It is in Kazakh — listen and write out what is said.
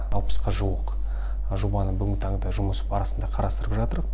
алпысқа жуық жобаны бүгінгі таңда жұмыс барысында қарастырып жатырық